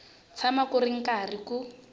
tshama ku ri karhi ku